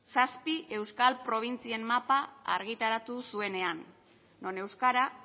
zazpi euskal probintzien mapa argitaratu zuenean non euskara